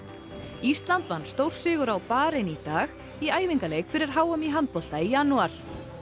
ísland vann stórsigur á Barein í dag í æfingaleik fyrir h m í handbolta í janúar